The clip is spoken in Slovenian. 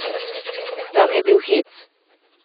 Tam je bil hec!